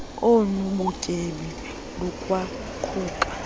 onu butyebi lukwaquka